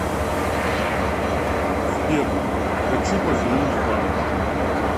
сбер хочу позвонить в банк